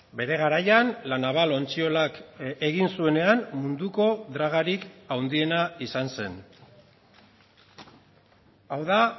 bere garaian la naval ontziolak egin zuenean munduko dragarik handiena izan zen hau da